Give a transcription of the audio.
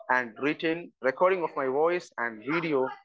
speaker 1 and retain recording of my voice and video